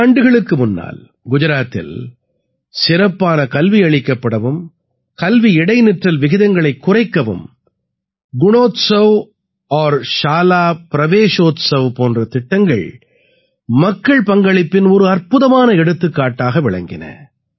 பல ஆண்டுகளுக்கு முன்னால் குஜராத்தில் சிறப்பான கல்வியளிக்கப்படவும் கல்வி இடைநிற்றல் விகிதங்களைக் குறைக்கவும் குணோத்ஸவ் ஔர் ஷாலா பிரவேஷோத்ஸவ் போன்ற திட்டங்கள் மக்கள் பங்களிப்பின் ஒரு அற்புதமான எடுத்துக்காட்டாக விளங்கின